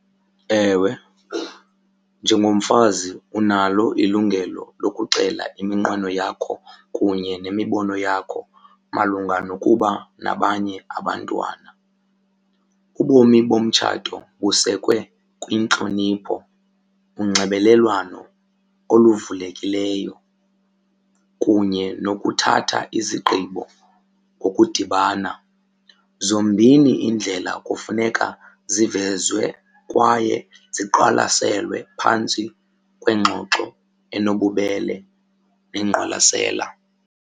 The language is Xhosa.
Ewe, njengomfazi unalo ilungelo lokuxela iminqweno yakho kunye nemibono yakho malunga nokuba nabanye abantwana. Ubomi bomtshato busekwe kwintlonipho, unxibelelwano oluvulekileyo kunye nokuthatha izigqibo ngokudibana. Zombini iindlela kufuneka zivezwe kwaye ziqwalaselwe phantsi kwengxoxo enobubele nengqwalasela.